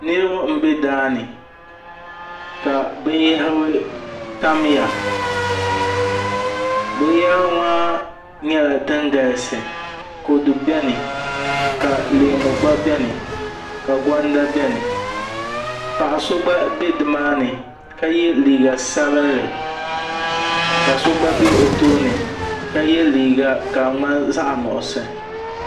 Niraba n bɛ daani ka binyahari tamya binyahari maa nyɛla din galisi kodu biɛni ka leemu gba biɛni ka gonda biɛni paɣa so gba biɛ nimaani ka yɛ liiga sabinli ka so gba bɛ o tooni ka yɛ liiga ka di ŋmani zaɣ nuɣso